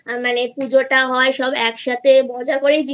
মানে পুজো টা হয় সব একসাথে মজা করেই